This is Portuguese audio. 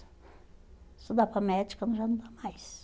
estudar para médica, mas já não dá mais.